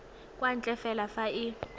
kwa ntle fela fa e